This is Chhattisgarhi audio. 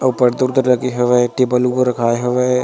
ऊपर दूर दूर रखे हवई टेबल रखाय हेवे।